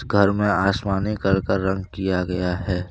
घर में आसमानी कलर का रंग किया गया है।